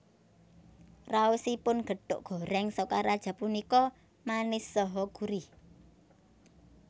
Raosipun gethuk gorèng Sokaraja punika manis saha gurih